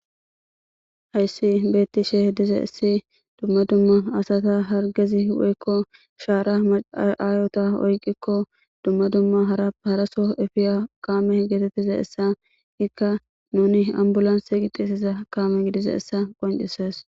hayssi beetti she diza issi dumma dumma asata hargezi woykko shaara maaayota oyqikko dumma dumma harap haraso efiya kaame geetettiza essa ikka nuni ambulanse gixiesiza kaame gidiza essa qoncises